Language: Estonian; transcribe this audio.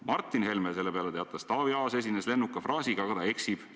Martin Helme teatas selle peale, et Taavi Aas esines lennuka fraasiga, aga ta eksib.